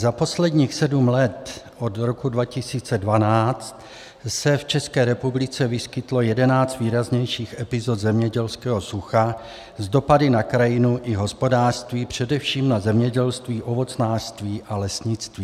Za posledních sedm let, od roku 2012 se v České republice vyskytlo jedenáct výraznějších epizod zemědělského sucha s dopady na krajinu i hospodářství, především na zemědělství, ovocnářství a lesnictví.